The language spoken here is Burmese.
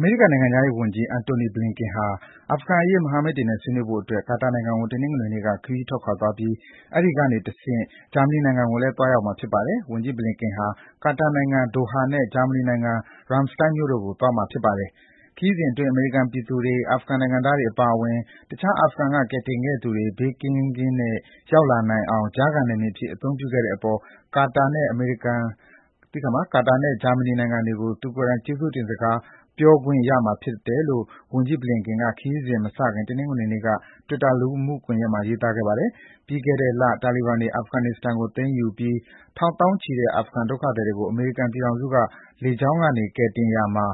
မေရိကန် နိုင်ငံခြားရေးဝန်ကြီး Antony Blinken ဟာ အာဖဂန်အရေး မဟာမိတ်တွေနဲ့ ဆွေးနွေးဖို့အတွက် ကာတာနိုင်ငံကို တနင်္ဂနွေနေ့က ခရီးထွက်ခွာသွားပြီး အဲဒီကနေတဆင့် ဂျာမနီနိုင်ငံကိုလည်း သွားရောက်မှာ ဖြစ်ပါတယ်။ ဝန်ကြီး Blinken ဟာ ကာတာနိုင်ငံ Doha နဲ့ ဂျာမနီနိုင်ငံ Ramstein တို့ကို သွားရောက်မှာပါ။ ခရီးစဉ်အတွင်း အမေရိကန် ပြည်သူတွေ၊ အာဖဂန် နိုင်ငံသားတွေအပါအဝင် တခြား အာဖဂန်က ကယ်တင်ခဲ့သူတွေ ဘေးကင်းကင်းနဲ့ ရောက်လာအောင် ကြားခံ နယ်မြေအဖြစ် အသုံးပြုနိုင်ခဲ့တဲ့အပေါ် ကာတာနဲ့ ဂျာမနီ နိုင်ငံတွေကို လူကိုယ်တိုင် ကျေးဇူးတင်စကား ပြောကြားခွင့်ရမှာ ဖြစ်ပါတယ်လို့ ဝန်ကြီး Blinken က ခရီးစဉ်မစခင် တနင်္ဂနွေနေ့က တွစ်တာ လူမှုကွန်ယက်မှာ ရေးသားပါတယ်။ ပြီးခဲ့တဲ့လ တာလီဘန်တွေ အာဖဂန်နစ္စတန်ကို သိမ်းယူပြီး ထောင်သောင်းချီတဲ့ အာဖဂန်ဒုက္ခသည်တွေကို အမေရိကန်ပြည်ထောင်စုက လေကြောင်းက ကယ်တင်ရာမှာ